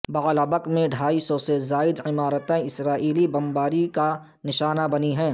بعلبک میں ڈھائی سو سے زائد عمارتیں اسرائیلی بمباری کا نشانہ بنی ہیں